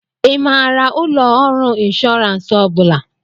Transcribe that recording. Ị maara ụlọ ọrụ ịnshọransị ọ bụla?